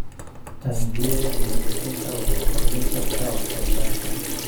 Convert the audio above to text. Taangiyada nadiifinta waxay kordhin kartaa wax soo saarka.